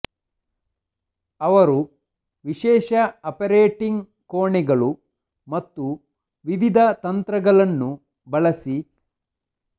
ಅವರು ವಿಶೇಷ ಆಪರೇಟಿಂಗ್ ಕೋಣೆಗಳು ಮತ್ತು ವಿವಿಧ ತಂತ್ರಗಳನ್ನು ಬಳಸಿ